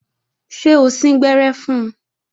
Ṣé o síngbẹ́rẹ́ fun?